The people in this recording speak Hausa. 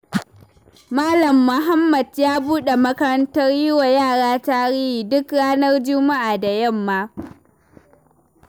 Malam Muhammad ya buɗe makarantar yiwa yara tarihi duk ranar juma'a da yamma.